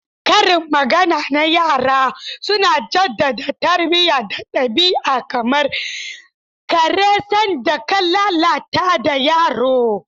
Karin magana na yara suna jaddada tarbiyya da ɗabi'a, kamar "kare sanda ka lalatar da yaro."